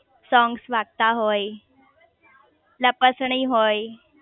songs વાગતા હોય લપસણી હોય